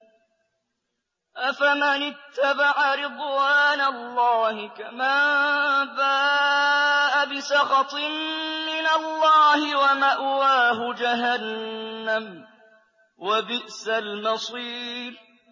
أَفَمَنِ اتَّبَعَ رِضْوَانَ اللَّهِ كَمَن بَاءَ بِسَخَطٍ مِّنَ اللَّهِ وَمَأْوَاهُ جَهَنَّمُ ۚ وَبِئْسَ الْمَصِيرُ